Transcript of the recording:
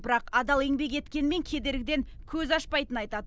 бірақ адал еңбек еткенмен кедергіден көз ашпайтынын айтады